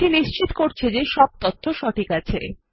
এটি নিশ্চিত করতে যে সব তথ্য সঠিক আছে